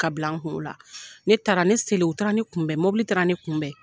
Ka bila n kun o la. Ne taara, ne selen u taara ne kunbɛn, mobili taara ne kunbɛn.